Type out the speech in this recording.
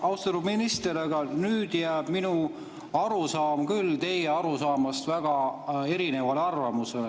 Aga, austatud minister, nüüd jääb minu arusaam teie arusaamast küll väga erinevaks.